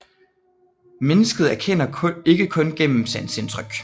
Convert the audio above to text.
Mennesket erkender ikke kun gennem sanseindtryk